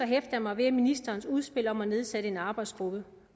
jeg mig ved ministerens udspil om at nedsætte en arbejdsgruppe